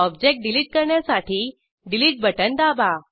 object delete करण्यासाठी delete button दाबा